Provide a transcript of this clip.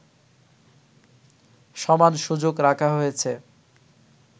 সমান সুযোগ রাখা হয়েছে